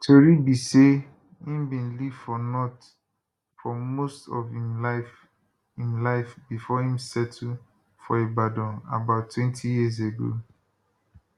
tori be say im bin live for north for most of im life im life bifor im settle for ibadan abouttwentyyears ago